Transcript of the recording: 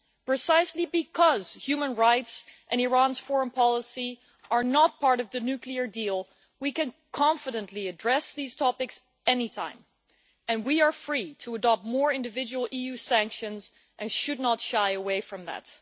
Precisely because human rights and Iran's foreign policy are not part of the nuclear deal, we can confidently address these topics any time, and we are free to adopt more individual EU sanctions, and should not shy away from that.